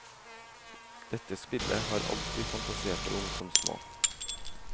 Dette spillet har alt vi fantaserte om som små.